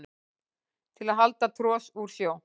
til að hala tros úr sjó